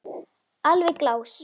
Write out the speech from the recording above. Alveg glás.